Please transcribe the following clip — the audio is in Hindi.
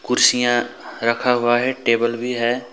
कुर्सियां रखा हुआ है टेबल भी है।